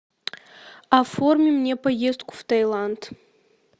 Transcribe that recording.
оформи мне поездку в таиланд